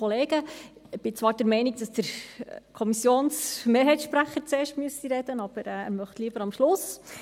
Ich bin zwar der Meinung, dass der Kommissionsmehrheitssprecher zuerst sprechen müsste, aber er möchte lieber am Schluss.